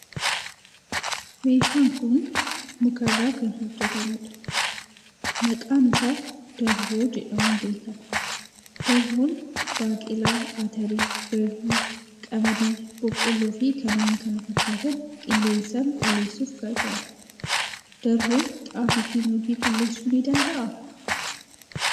Meeshaan kun muka irraa kan hojjetamudha. Maqaan isaa darboo jedhamuun beekama. Darboon baaqelaa, atarii, garbuu, qamadii, boqqolloo fi kanneen kana fakkaatan qilleensaan qulleessuuf gargaara. Darboon xaafii fi nuugii qulleessuu ni danda'aa?